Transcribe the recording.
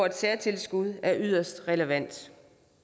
et særtilskud være yderst relevant